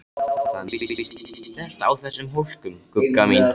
Það má víst ekki snerta á þessum hólkum, Gugga mín.